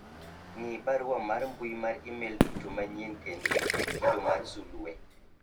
ng'i barua mar mbui mar email duto manyien kendo iket kido mar sulwe